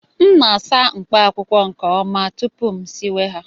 M na-asa mkpaakwụkwọ nke ọma tupu m siwe ha